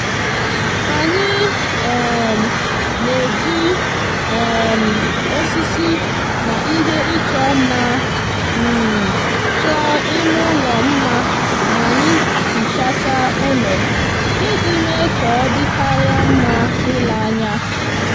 anyi um n'eji um osisi na ihe icho nma um choo ime ulo nma ma anyi hichacha ulo iji me ka odikaria nma ile anya